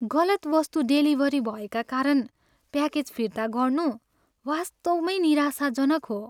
गलत वस्तु डेलिभरी भएको कारण प्याकेज फिर्ता गर्नु वास्तवमै निराशाजनक हो।